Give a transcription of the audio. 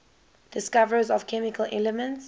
discoverers of chemical elements